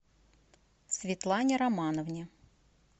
светлане романовне